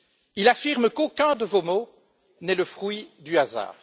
Il affirme qu'aucun de vos mots n'est le fruit du hasard.